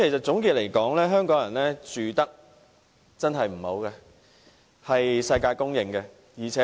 總括而言，香港人的居住環境確實很差，這是世界公認的。